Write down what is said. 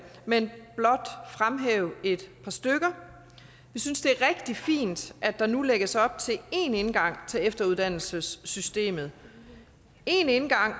men blot fremhæve et par stykker vi synes det er rigtig fint at der nu lægges op til én indgang til efteruddannelsessystemet